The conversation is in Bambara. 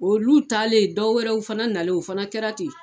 Olu talen dɔ wɛrɛw fana nalen o fana kɛra ten.